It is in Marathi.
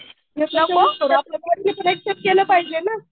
करेन पण आल्या बॉडीने पण एक्सेप्ट केलं पाहिजे ना.